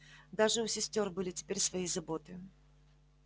даже у сестёр были теперь свои заботы